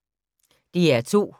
DR2